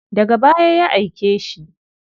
Daga baya ya aike shi.